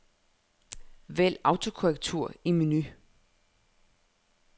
Vælg autokorrektur i menu.